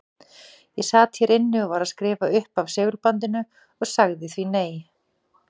Ég sat hér inni og var að skrifa upp af segulbandinu og sagði því nei.